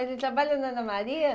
Ele trabalha na Ana Maria?